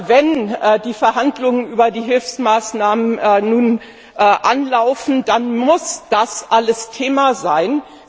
Wenn die Verhandlungen über die Hilfsmaßnahmen nun anlaufen, dann muss das alles Thema sein.